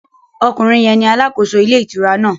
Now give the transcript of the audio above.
Okùnrin yẹn ni alàkóso ilé ìtura náà